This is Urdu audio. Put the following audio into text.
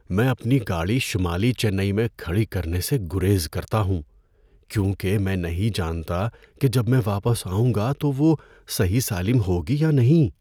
میں اپنی گاڑی شمالی چنئی میں کھڑی کرنے سے گریز کرتا ہوں کیونکہ میں نہیں جانتا کہ جب میں واپس آؤں گا تو وہ صحیح سالم ہوگی یا نہیں۔